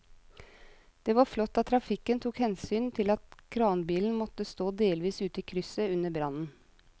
Det var flott at trafikken tok hensyn til at kranbilen måtte stå delvis ute i krysset under brannen.